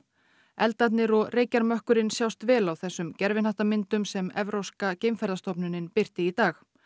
eldarnir og reykjarmökkurinn sjást vel á þessum sem Evrópska birti í dag